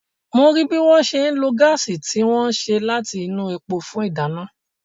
mo rí bí wọ́n ṣe ń lo gáàsì tí wọ́n ṣe láti inú epo fún ìdáná.